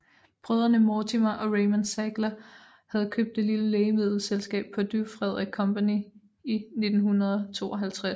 Brødrene Mortimer og Raymond Sackler havde købt det lille lægemiddelselskab Purdue Fredrick Company i 1952